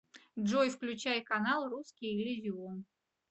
джой включай канал русский иллюзион